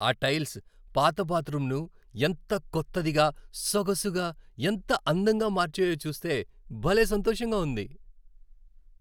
ఆ టైల్స్ పాత బాత్రూమ్ను ఎంత కొత్తదిగా, సొగసుగా, ఎంత అందంగా మార్చాయో చూస్తే భలే సంతోషంగా ఉంది.